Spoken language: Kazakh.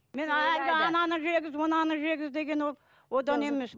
ананы жегіз мынаны жегіз деген ол одан емес